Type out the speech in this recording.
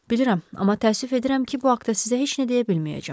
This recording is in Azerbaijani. Bilirəm, amma təəssüf edirəm ki, bu haqda sizə heç nə deyə bilməyəcəm.